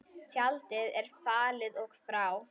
Tjaldið er fallið og frá.